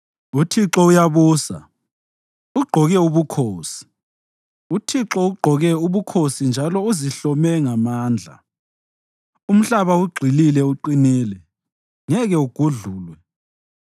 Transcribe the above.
UThixo uyabusa, ugqoke ubukhosi; uThixo ugqoke ubukhosi njalo uzihlome ngamandla. Umhlaba ugxilile uqinile; ngeke ugudlulwe.